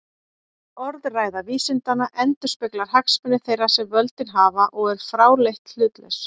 Orðræða vísindanna endurspeglar hagsmuni þeirra sem völdin hafa og er fráleitt hlutlaus.